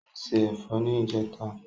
O ṣé ẹ̀fọ́ ní ìjẹta.